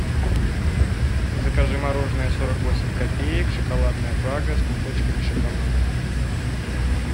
закажи мороженое сорок восемь копеек шоколадная прага с кусочками шоколада